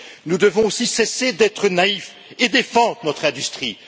Nous devons aussi cesser d'être naïfs et défendre notre industrie.